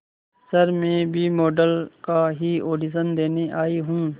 sir मैं भी model का ही ऑडिशन देने आई हूं